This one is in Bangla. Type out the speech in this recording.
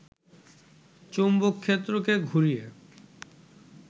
চৌম্বকক্ষেত্রকে ঘুরিয়ে